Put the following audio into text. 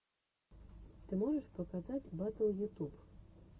ты можешь показать батл ютуб